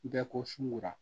Bɛɛ ko sunkura